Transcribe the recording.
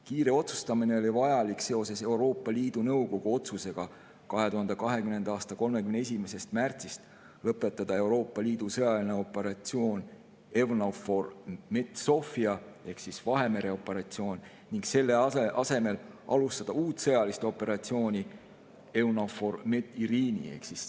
Kiire otsustamine oli vajalik seoses Euroopa Liidu Nõukogu 2020. aasta 31. märtsi otsusega lõpetada Euroopa Liidu sõjaline operatsioon EUNAVFOR Med/Sophia ehk Vahemere operatsioon ning selle asemel alustada uut sõjalist operatsiooni EUNAVFOR Med/Irini.